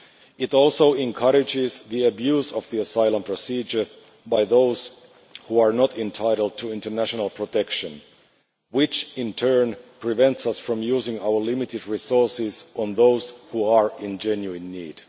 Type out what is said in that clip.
It also encourages the abuse of the asylum procedure by those who are not entitled to international protection, which in turn prevents us from using our limited resources on those in genuine need.